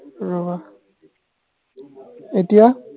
ৰবা এতিয়া